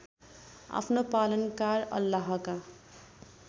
आफ्नो पालनकार अल्लाहका